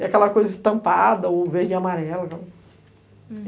E aquela coisa estampada, ou verde e amarela.